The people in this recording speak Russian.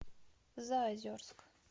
заозерск